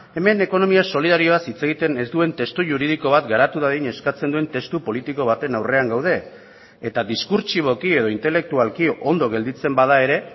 hemen ekonomia solidarioaz hitz egiten ez duen testu juridiko bat garatu dadin eskatzen duen testu politiko baten aurrean gaude eta diskurtsiboki edo intelektualki ondo gelditzen bada ere